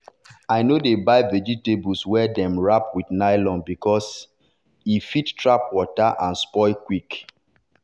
i no dey buy vegetable wey dem wrap with nylon because e because e fit trap water and spoil quick.